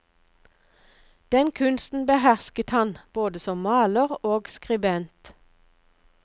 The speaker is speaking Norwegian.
Den kunsten behersket han, både som maler og skribent.